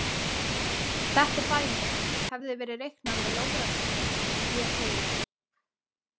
Þetta dæmi hefði verið reiknað með logratöflum sem hér segir.